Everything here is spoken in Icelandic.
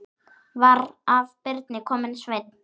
Var af Birni kominn Sveinn.